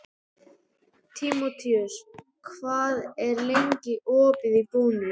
Tímoteus, hvað er lengi opið í Bónus?